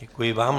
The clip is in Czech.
Děkuji vám.